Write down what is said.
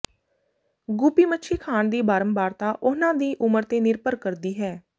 guppy ਮੱਛੀ ਖਾਣ ਦੀ ਬਾਰੰਬਾਰਤਾ ਉਹਨਾਂ ਦੀ ਉਮਰ ਤੇ ਨਿਰਭਰ ਕਰਦੀ ਹੈ